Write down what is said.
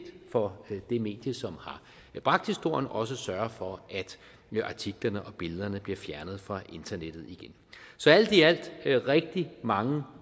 for det medie som har bragt historien også at sørge for at artiklerne og billederne bliver fjernet fra internettet igen så alt i alt er der rigtig mange